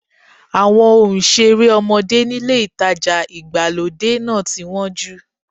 Àwọn ohun ìṣeré ọmọdé nílé ìtajà ìgbàlódé náà ti wọ́n jù.